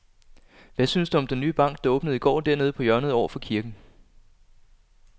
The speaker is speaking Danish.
Hvad synes du om den nye bank, der åbnede i går dernede på hjørnet over for kirken?